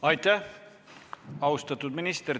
Aitäh, austatud minister!